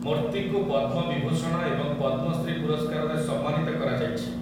ମୂର୍ତ୍ତିଙ୍କୁ ପଦ୍ମ ବିଭୂଷଣ ଏବଂ ପଦ୍ମଶ୍ରୀ ପୁରସ୍କାରରେ ସମ୍ମାନିତ କରାଯାଇଛି ।